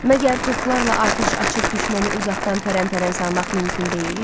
Məgər toplarla atəş açıb düşməni uzaqdan pəran-pəran salmaq mümkün deyil?